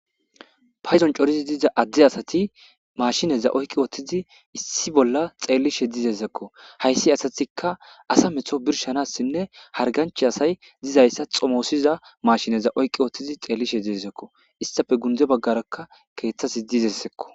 paydon coridi diza adde asati mashineza oyqqi wottizi issi bolla xeellishe dizezekko hayssi asatika asa metho birshanassinne harganchi asay dizayssa xomoossiza mashineza oyqqi oottizi xeeli she diezekko istafe gunze baggarakka keeththasi dizessekko